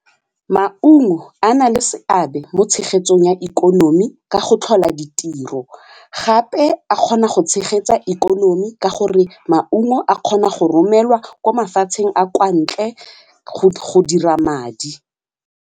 Maungo a na le seabe mo tshegetsong ya ikonomi ka go tlhola ditiro gape a kgona go tshegetsa ikonomi ka gore maungo a kgona go romelwa ko mafatsheng a kwa ntle go dira madi.